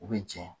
U bɛ jɛn